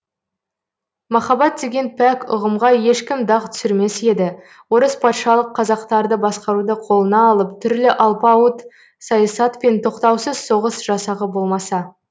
махаббат деген пәк ұғымға ешкім дақ түсірмес еді орыс патшалық қазақтарды басқаруды қолына алып түрлі алпауыт саясат пен тоқтаусыз соғыс жасағы болмаса